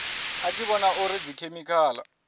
a tshi vhona uri dzikhemikhala